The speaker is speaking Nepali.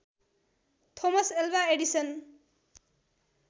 Thomas Alva Edison